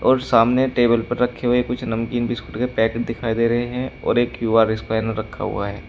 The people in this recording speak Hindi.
और सामने टेबल पर रखे हुए कुछ नमकीन बिस्कुट के पैकेट दिखाई दे रहे हैं और एक क्यू_आर स्कैनर रखा हुआ है।